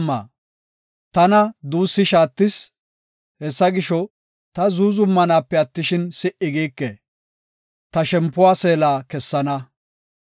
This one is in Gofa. Tana duussi shaattis! Hessa gisho, ta zuuzumanaape attishin, si77i giike; ta shempuwa seela kessana.